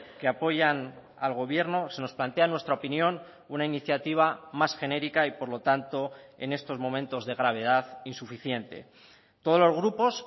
que apoyan al gobierno se nos plantea en nuestra opinión una iniciativa más genérica y por lo tanto en estos momentos de gravedad insuficiente todos los grupos